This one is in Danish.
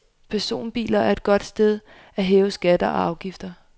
Personbiler er et godt sted at hæve skatter og afgifter.